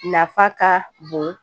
Nafa ka bon